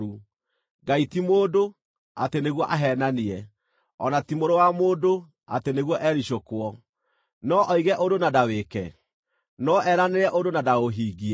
Ngai ti mũndũ, atĩ nĩguo aheenanie, o na ti mũrũ wa mũndũ, atĩ nĩguo ericũkwo. No oige ũndũ na ndawĩĩke? No eranĩre ũndũ na ndaũhingie?